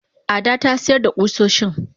Ada tasiyar da kusoshin.